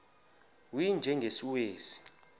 u y njengesiwezi